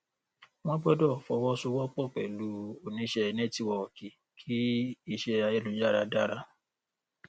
wọn gbọdọ fọwọsowọpọ pẹlú oníṣẹnẹtíwọọkì kí iṣẹ ayélujára dára